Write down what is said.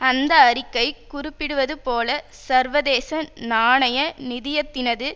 அந்த அறிக்கை குறிப்பிடுவது போல சர்வதேச நாணய நிதியத்தினது